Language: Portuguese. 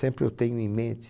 Sempre eu tenho em mente.